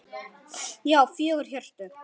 Já, fjögur HJÖRTU!